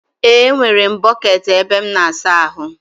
E, nwere m bọkeeti ebe m n'asa ahụ.